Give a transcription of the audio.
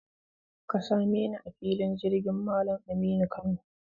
Ka same ni a filin jirgin Malam Aminu Kano.